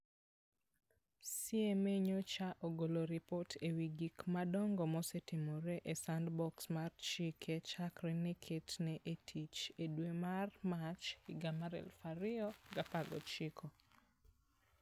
CMA nyocha ogolo ripot e wi gik madongo mosetimore e Sandbox mar chike chakre ne ketne e tich e dwe mar Mach 2019.